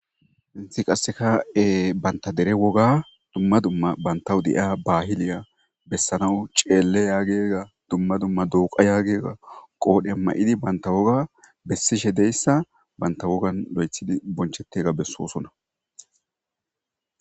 hinthi qasseka7e banta dere woga dumma dumma bantawu de7ia bahiliya bessanawu ceele yaagega dumma dumma duuqa yaagega qoodhe ma7idi banta woga bessishe deyssa banta wogan lo7ethidi bonchettega bessoosona